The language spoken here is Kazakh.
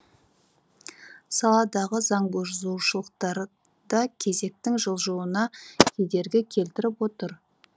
саладағы заңбұзушылықтар да кезектің жылжуына кедергі келтіріп отыр